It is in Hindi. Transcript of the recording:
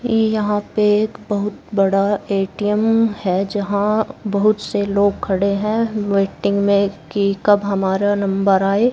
यहां पे एक बहुत बड़ा ए_टी_एम है। जहां बहुत से लोग खड़े हैं वेटिंग में की कब हमारा नंबर आए।